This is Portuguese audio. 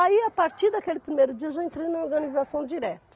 Aí, a partir daquele primeiro dia, eu já entrei na organização direto.